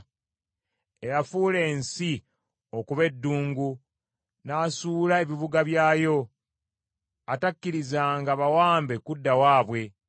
Eyafuula ensi okuba eddungu n’asuula ebibuga byayo, atakkirizanga bawambe kudda waabwe!”